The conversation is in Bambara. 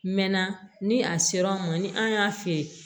Mɛ na ni a sera an ma ni an y'a fiyɛ